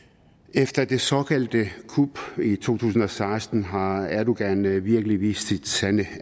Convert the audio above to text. efter det såkaldte kup i to tusind og seksten har erdogan virkelig vist sit sande